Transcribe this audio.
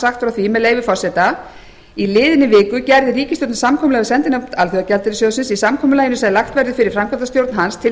sagt frá því að í liðinni viku gerði ríkisstjórnin samkomulag við sendinefnd alþjóðagjaldeyrissjóðsins í samkomulaginu sem lagt verður fyrir framkvæmdastjórn hans til